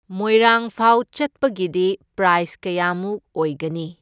ꯃꯣꯏꯔꯥꯡꯐꯥꯎ ꯆꯠꯄꯒꯤꯗꯤ ꯄ꯭ꯔꯥꯏꯁ ꯀꯌꯥꯃꯨꯛ ꯑꯣꯏꯒꯅꯤ꯫